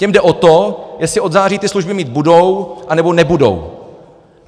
Těm jde o to, jestli od září ty služby mít budou, nebo nebudou.